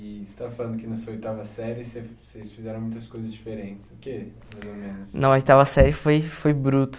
E você estava falando que na sua oitava série você vocês fizeram muitas coisas diferentes. O quê? Na oitava série foi foi bruto